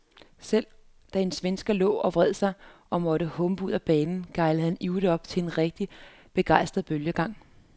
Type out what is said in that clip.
Selv da en svensk spiller lå og vred sig og måtte humpe ud af banen, gejlede han ivrigt op til en rigtig begejstret bølgegang.